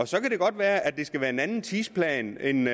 så kan det godt være at det skal være med en anden tidsplan end